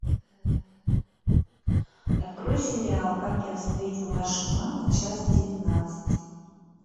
открой сериал как я встретил вашу маму часть девятнадцать